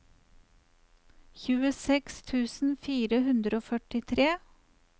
tjueseks tusen fire hundre og førtitre